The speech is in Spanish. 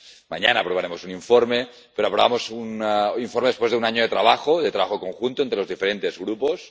Mañana aprobaremos un informe, pero aprobamos un informe después de un año de trabajo, de trabajo conjunto entre los diferentes grupos.